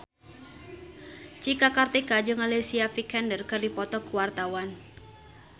Cika Kartika jeung Alicia Vikander keur dipoto ku wartawan